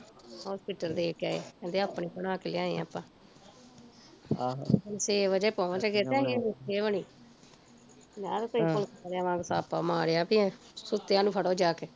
hospital ਦੇ ਕੇ ਆਏ, ਕਹਿੰਦੇ ਆਪਣੀ ਬਣਾ ਕੇ ਲਿਆਏ ਆਪਾਂ ਆਹ ਅਸੀਂ ਛੇ ਵਜੇ ਪਹੁੰਚ ਗਏ ਤੇ ਅਜੇ ਰੋਟੀ ਨੀ ਬਣੀ ਪੰਜਾਹ ਰੁਪਏ police ਵਾਲਿਆ ਵਾਂਗ ਛਾਪਾ ਮਾਰਿਆ ਜਾਕੇ ਵੀ ਸੁੱਤਿਆ ਨੂੰ ਫੜੋ ਜਾਕੇ